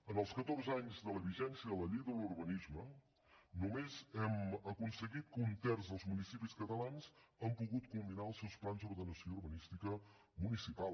en els catorze anys de la vigència de la llei d’urbanisme només hem aconseguit que un terç dels municipis catalans hagin pogut culminar els seus plans d’ordenació urbanística municipal